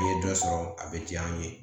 I ye dɔ sɔrɔ a bɛ diya n ye